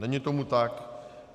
Není tomu tak.